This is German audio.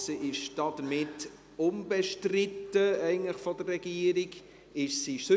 Die Motion ist damit vonseiten der Regierung eigentlich unbestritten.